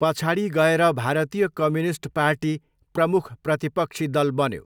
पछाडि गएर भारतीय कम्युनिस्ट पार्टी प्रमुख प्रतिपक्षी दल बन्यो।